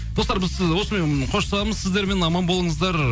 достар біз осымен қоштасамыз сіздермен аман болыңыздар